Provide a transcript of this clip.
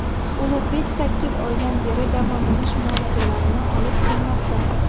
Ulug‘bek sakkiz oydan beri davolanish muolajalarini olib kelmoqda.